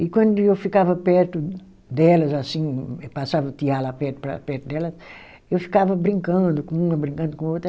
E quando eu ficava perto delas, assim, passava o tear lá perto para perto delas, eu ficava brincando com uma, brincando com outra.